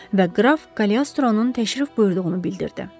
Və qraf Kaliostronun təşrif buyurduğunu bildirdi.